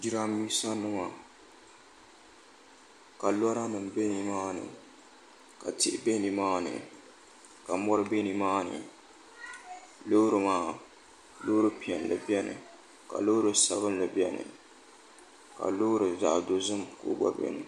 jirambiisanima ka lɔranima be nimaani ka tihi be nimaani ka mɔri be nimaani loorim maa loori piɛlli bɛni ka loori sabinli bɛni ka loori zaɣ' dozim ka o gba bɛni